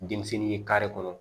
Denmisɛnnin ye kare kɔnɔ